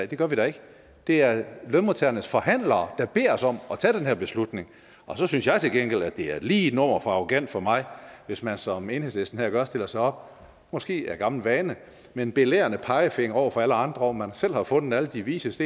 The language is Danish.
det gør vi da ikke det er lønmodtagernes forhandlere der beder os om at tage den her beslutning og så synes jeg til gengæld at det er lige et nummer for arrogant for mig hvis man som enhedslisten her gør stiller sig op måske af gammel vane med en belærende pegefinger over for alle andre man selv har fundet alle de vises